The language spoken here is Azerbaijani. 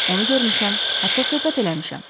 Onu görmüşəm, hətta söhbət eləmişəm.